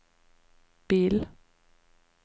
bil